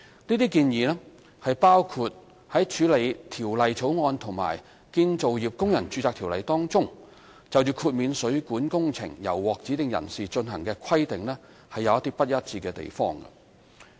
這些建議包括處理《條例草案》和《建造業工人註冊條例》當中，就豁免水管工程由獲指定人士進行的規定有不一致的地方。